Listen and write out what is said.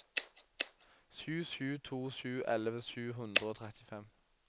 sju sju to sju elleve sju hundre og trettifem